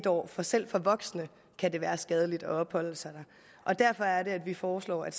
år for selv for voksne kan det være skadeligt at opholde sig der og derfor er det at vi foreslår at